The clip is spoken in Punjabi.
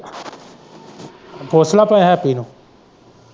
ਪੁੱਛ ਲੈ ਭਾਵੇਂ ਹੈਪੀ ਨੂੰ।